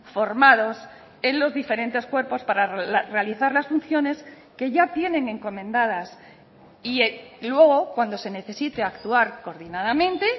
formados en los diferentes cuerpos para realizar las funciones que ya tienen encomendadas y luego cuando se necesite actuar coordinadamente